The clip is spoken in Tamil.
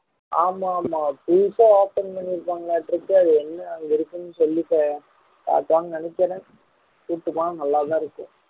ஆமா ஆமா புதுசா open பண்ணியிருக்காங்கட்டுருக்கு அது என்ன அங்க இருக்குன்னு சொல்லிட்டு காட்டுவாங்கன்னு நினைக்கிறேன் கூட்டிட்டு போனா நல்லா தான் இருக்கும்